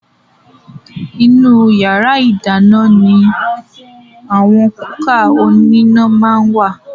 Ìnú yàrá ìdáná ní àwọn kúkà oníná máa ń wà